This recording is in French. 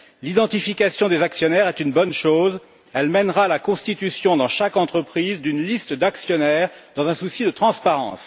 L'identification des actionnaires est une bonne chose elle mènera à la constitution dans chaque entreprise, d'une liste d'actionnaires dans un souci de transparence.